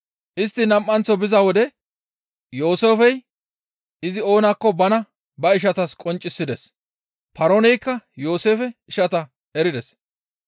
Istti nam7anththo biza wode Yooseefey izi oonakko bana ba ishatas qonccisides. Paarooneykka Yooseefe ishata erides.